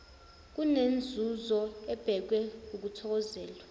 kunenzuzo ebhekwe ukuthokozelwa